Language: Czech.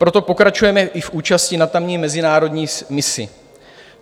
Proto pokračujeme i v účasti na tamní mezinárodní misi.